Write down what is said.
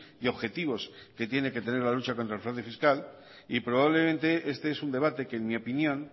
y objetivos que tiene que tener la lucha contra el fraude fiscal y probablemente este es un debate que en mi opinión